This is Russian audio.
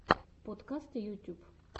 подкасты ютюб